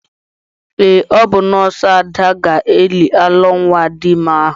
Ee, ọ bụ nọọsụ Ada ga-eli alọ nwa Adime ahụ.